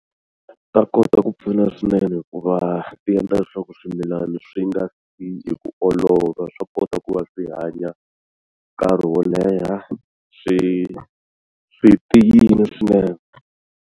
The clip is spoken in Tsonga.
Ta kota ku pfuna swinene hikuva ti endla leswaku swimilana swi nga fi hi ku olova swa kota ku va swi hanya nkarhi wo leha swi swi tiyile swinene.